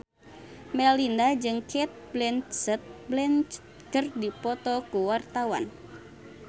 Melinda jeung Cate Blanchett keur dipoto ku wartawan